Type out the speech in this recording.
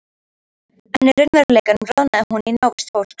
En í raunveruleikanum roðnaði hún í návist fólks.